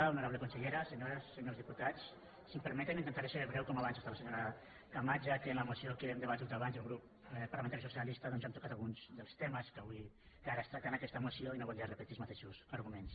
honorable consellera senyores senyors diputats si m’ho permeten intentaré ser breu com abans amb la senyora camats ja que en la moció que hem debatut abans del grup parlamentari socialista doncs hem tocat alguns dels temes que ara es tracten en aquesta moció i no voldria repetir els mateixos arguments